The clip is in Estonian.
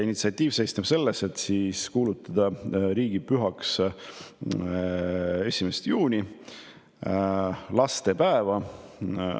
See seisneb selles, et kuulutada 1. juuni – lastepäev – riigipühaks.